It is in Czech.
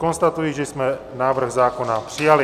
Konstatuji, že jsme návrh zákona přijali.